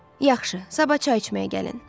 Yaxşı, sabah çay içməyə gəlin.